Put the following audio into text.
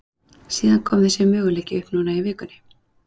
Síðan kom þessi möguleiki upp núna í vikunni.